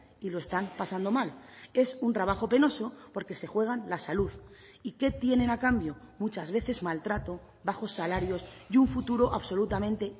y lo están pasando mal es un trabajo penoso porque se juegan la salud y qué tienen a cambio muchas veces maltrato bajos salarios y un futuro absolutamente